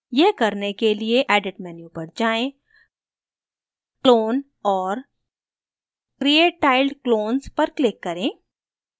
यह करने के लिए edit menu पर जाएँ clone और create tiled clones पर click करें